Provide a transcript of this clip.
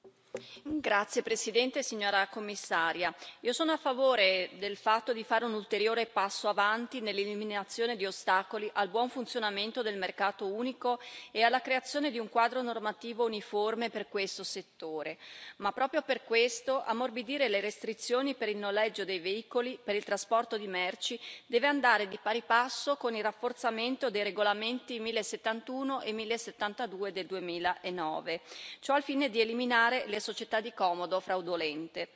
Signora Presidente, onorevoli colleghi, signora Commissaria, io sono a favore del fatto di fare un ulteriore passo avanti nell'eliminazione di ostacoli al buon funzionamento del mercato unico e alla creazione di un quadro normativo uniforme per questo settore ma, proprio per questo, ammorbidire le restrizioni per il noleggio dei veicoli e per il trasporto di merci deve andare di pari passo con il rafforzamento dei regolamenti 1071 e 1072 del 2009, ciò al fine di eliminare le società di comodo fraudolente.